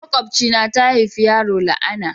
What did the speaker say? Makobcia na ta haifi yaro la'ana.